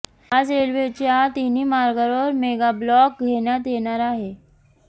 आज रेल्वेच्या तीनही मार्गावर मेगाब्लॉक घेण्यात येणार आहे